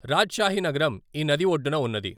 రాజ్షాహి నగరం ఈ నది ఒడ్డున ఉన్నది.